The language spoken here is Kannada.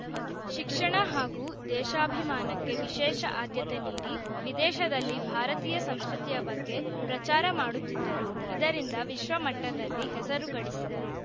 ಶಿಕ್ಷಣ ಹಾಗೂ ದೇಶಾಭಿಮಾನಕ್ಕೆ ವಿಶೇಷ ಅದ್ಯತೆ ನೀಡಿ ವಿದೇಶದಲ್ಲಿ ಭಾರತೀಯ ಸಂಸ್ಕೃತಿಯ ಬಗ್ಗೆ ಪ್ರಚಾರ ಮಾಡುತ್ತಿದ್ದರು ಇದರಿಂದ ವಿಶ್ವಮಟ್ಟದಲ್ಲಿ ಹೆಸರು ಗಳಿಸಿದರು